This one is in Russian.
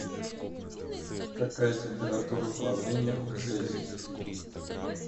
какая температура плавления у цезий